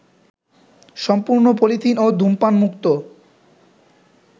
সম্পূর্ণ পলিথিন ও ধূমপানমুক্ত